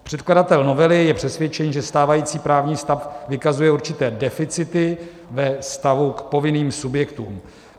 Předkladatel novely je přesvědčen, že stávající právní stav vykazuje určité deficity ve vztahu k povinným subjektům.